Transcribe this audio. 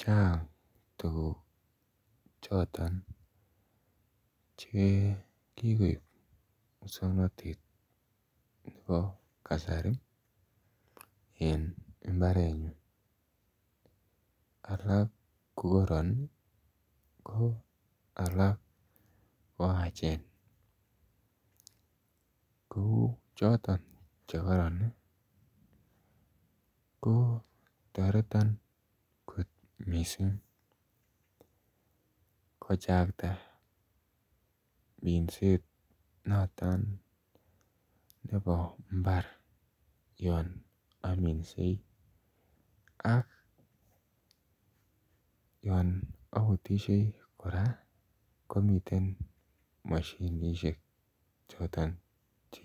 chang tuguk choton chekikoib muswongnotet nebo kasari en mbaret nyun alak kokoron ih ko alak ko achen ko choton chekoron ih kotoreton kot missing kochakta minset noton nebo mbar yon ominsei ak yon obutisie kora komiten moshinisiek choton che